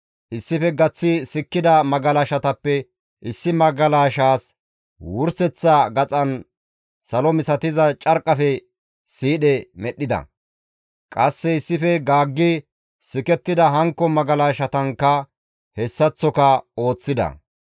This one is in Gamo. Issife gaththi sikkida magalashatappe issi magalashaas wurseththa gaxan salo misatiza carqqafe siidhe medhdhida. Qasse issife gaaggi sikettida hankko magalashatankka hessaththoka ooththida.